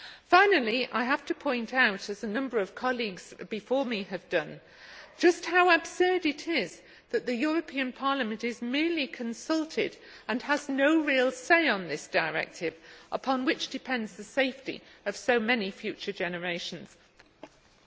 Finally, I have to point out, as a number of colleagues before me have done, just how absurd it is that the European Parliament is merely consulted and has no real say on this directive, upon which the safety of so many future generations depends.